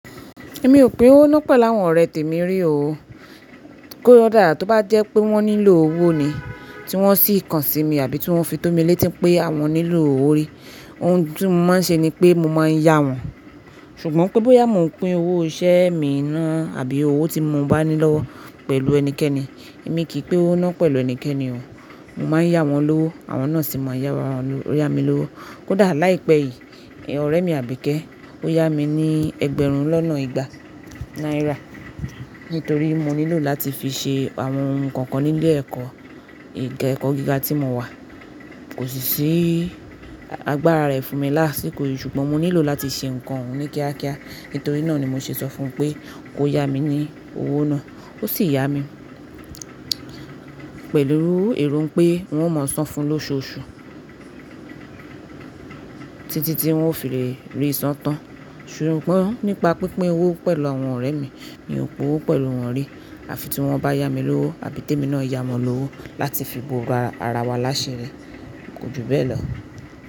Èmi ò pín owó náà pẹ̀lú àwọn ọ̀rẹ́ temi rí o. Kí ó dá, tó bá jẹ́ pé wọ́n nílò owó ni, tí wọ́n sì kàn sí mi àbí tí wọ́n fi tó mi létí pé àwọn nílò owó rí, ohun tí mo máa ń ṣe ni pé mo máa ń yá wọn. Ṣùgbọ́n pé bóyá mo ń pín owó iṣẹ́ mi náà àbí owó tí mo bá ní lọ́wọ́ pẹ̀lú ẹnikẹ́ni, èmi kì í pín owó náà pẹ̀lú ẹnikẹ́ni o. Mo máa ń yá wọn lówó, àwọn náà sì máa n yá wa yá mi lówó. Kódà láìpẹ́ yìí, ọ̀rẹ́ mi Àbíkẹ́, ó yá mi ní ẹgbẹ̀rún lọ́nà ìgbà náírà nítorí mo nílò láti fi ṣe àwọn ohun kan kan ní ilé-ẹ̀kọ́ ẹ̀kọ́ gíga tí mo wà. Kò sì ṣí, agbára rẹ̀ fún mi lásìkò yìí ṣùgbọ́n mo nílò láti ṣe ǹkan òun ní kíákíá. Nítorí náà ni mo ṣe sọ fún pé kó yá mi ní owó náà, ó sì yá mi pẹ̀lú èrò pé wọn ó mọ̀ọ́ sán fún lóṣooṣù títí tí wọn ó fi le rí í san tán. Ṣùgbọ́n nípa pínpín owó pẹ̀lú àwọn ọ̀rẹ́ mi mi ò pín owó pẹ̀lú wọn rí. Àfi tí wọ́n bá yá mi lówó àbí tèmi náà yá wọn lówó láti fi bo ara ara wa láṣi ri. Kò ju bẹ́ẹ̀ lọ.